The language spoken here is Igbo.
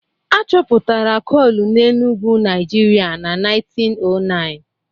A chọpụtara coal na Enugu, Nigeria na 1909